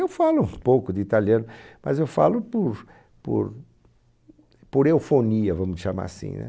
Eu falo um pouco de italiano, mas eu falo por por por eufonia, vamos chamar assim, né?